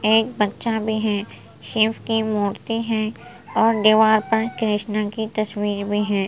एक बच्चा भी है शिव की मूर्ति है और दीवार पर कृष्णा की तस्वीर भी है ।